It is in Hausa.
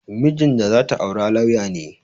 Mijin da za ta aura lauya ne